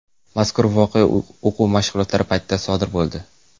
Mazkur voqea o‘quv mashqlari paytida sodir bo‘ldi.